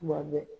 Kuma bɛɛ